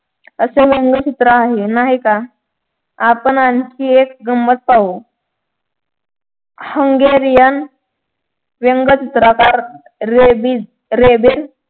असे व्यंगचित्र आहे नाही का आपण आणखी एक गम्मत पाहू हंगेरिया व्यंगचित्रकार रेबीज रेबिज